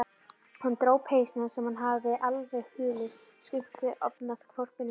Hann dró peysuna, sem hafði alveg hulið Skunda, ofanaf hvolpinum.